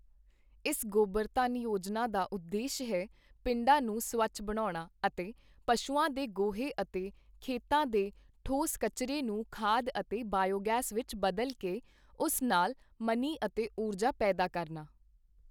ਇਸ ਗੋਬਰ ਧੰਨ ਯੋਜਨਾ ਦਾ ਉਦੇਸ਼ ਹੈ, ਪਿੰਡਾਂ ਨੂੰ ਸਵੱਛ ਬਣਾਉਣਾ ਅਤੇ ਪਸ਼ੂਆਂ ਦੇ ਗੋਹੇ ਅਤੇ ਖੇਤਾਂ ਦੇ ਠੋਸ ਕਚਰੇ ਨੂੰ ਖਾਦ ਅਤੇ ਬਾਈਓ ਗੈਸ ਵਿੱਚ ਬਦਲ ਕੇ, ਉਸ ਨਾਲ ਮਨੀ ਅਤੇ ਊਰਜਾ ਪੈਦਾ ਕਰਨਾ।